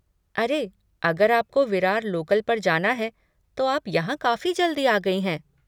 अरे, अगर आपको विरार लोकल पर जाना है तो आप यहाँ काफ़ी जल्दी आ गई हैं।